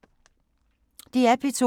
DR P2